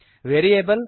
variable